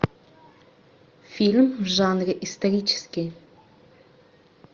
фильм в жанре исторический